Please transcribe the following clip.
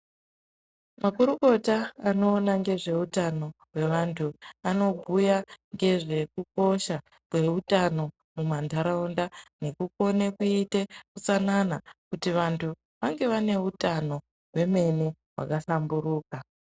Makorokota anoona ngezveutano hwevantu, anobhuya ngezvekukosha kweutano mumandaraunda ,ngekukone kuyite utsanana kuti vantu vange vane utano vememo hwakahlamburuka.